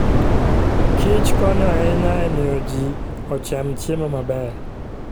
kichkonyo ahinya e miyo ji ocham chiemo maber.